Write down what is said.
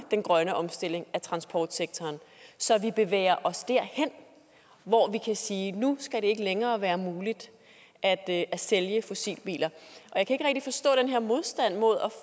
den grønne omstilling af transportsektoren så vi bevæger os derhen hvor vi kan sige at nu skal det ikke længere være muligt at sælge fossilbiler jeg kan ikke rigtig forstå den her modstand mod